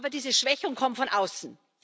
Aber diese Schwächung kommt von außen.